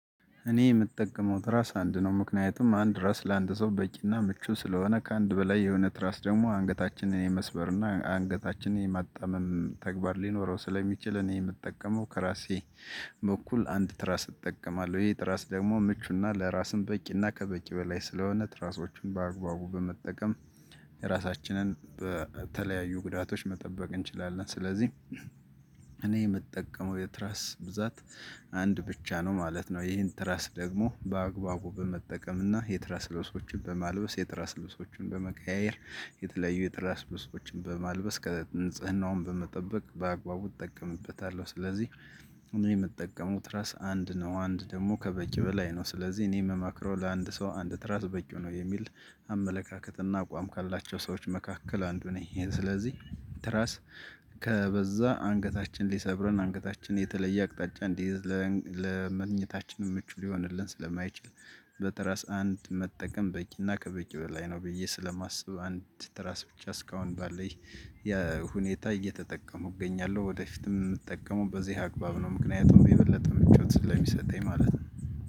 እኔ የምጠቀመው ትራስ አንድ ነው ምክንያቱም አንድ ትራስ ለአንድ ሰው በቂና ምቹ ስለሆነ ከአንድ በላይ የሆነ ትራስ ደግሞ አንገታችንን የመስበርና አንገታችንን የማጣመም ተግባር ሊኖረው ስለሚችል እኔ የምጠቀመው ከራሴ በኩል አንድ ትራስ እጠቀማለሁ ይሄ ትራስ ደግሞ ምቹና ለራስም በቂና ከበቂ በላይ ስለሆነ ትራሶቹን በአግባቡ በመጠቀም ራሳችንን በተለያዩ ጉዳቶች መጠበቅ እንችላለን። ስለዚህ እኔ የምጠቀመው የትራስ ብዛት አንድ ብቻ ነው ማለት ነው። ይሄን ትራስ ደግሞ በአግባቡ በመጠቀም እና የትራስ ልብሶችን በማልበስ የትራስ ልብሶችን በመቀያየር የተለዩ የትራስ ልብሶችን በማልበስ ንጽህናውን በመጠበቅ በአግባቡ እጠቀምበታለሁ። ስለዚህ የምጠቀመው ትራስ አንድ ነው አንድ ደግሞ ከበቂ በላይ ነው። ስለዚህ እኔ የምመክረው ለአንድ ሰው አንድ ትራስ በቂው ነው የሚል አመለካከትና አቋም ካላቸው ሰዎች መካከል አንዱ ነኝ። ይሄን ስለዚህ ትራስ ከበዛ አንገታችን ሊሰብረን አንገታችን የተለየ አቅጣጫ እንዲይዝ ለመኝታታችን ምቹ ሊሆንልን ስለማይችል በተራስ አንድ መጠቀም በቂና ከበቂ በላይ ነው። ብዬ ስለማስብ አንድ ትራስ ብቻ እስካሁን ባለው የሁኔታ እየተጠቀምኩ እገኛለሁ። ወደፊትም የምጠቀመው በዚህ አግባብ ነው ምክንያቱም የበለጠ ምቾት ለሚሰጠኝ ማለት ነው።